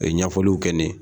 Ɲɛfɔliw kɛ ne yen.